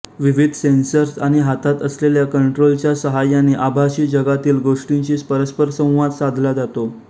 विविध सेन्सर्स आणि हातात असलेल्या कंट्रोलरच्या सहाय्याने आभासी जगातील गोष्टींशी परस्परसंवाद साधला जातो